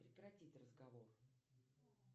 прекратить разговор